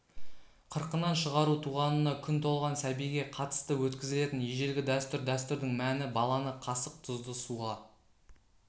қырқынан шығару туғанына күн толған сәбиге қатысты өткізілетін ежелгі дәстүр дәстүрдің мәні баланы қасық тұзды суға